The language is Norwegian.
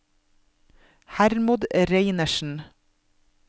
Hermod Reinertsen